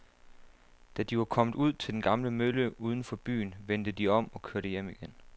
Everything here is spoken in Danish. Da de var kommet ud til den gamle mølle uden for byen, vendte de om og kørte hjem igen.